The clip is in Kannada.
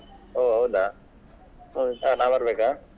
ಹೊ ಹೌದ ನಾ ಬರ್ಬೇಕಾ?